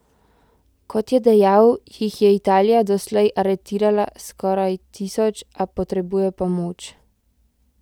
Kot je dejal, jih je Italija doslej aretirala skoraj tisoč, a potrebuje pomoč.